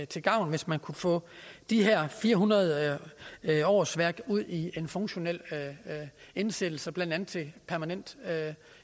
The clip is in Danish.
til gavn hvis man kunne få de her fire hundrede årsværk ud i en funktionel indsættelse blandt andet til permanent